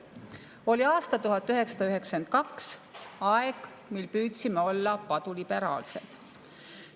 Oli aasta 1992, aeg, mil püüdsime olla paduliberaalsed.